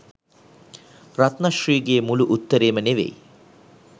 රත්න ශ්‍රී ගේ මුළු උත්තරේම නෙවෙයි